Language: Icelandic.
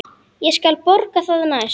Ég skal borga það næst.